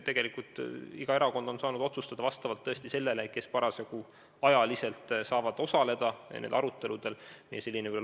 Tegelikult on iga erakond saanud vastavalt sellele, kellel on parasjagu olnud võimalik arutelul osaleda, kohal olla.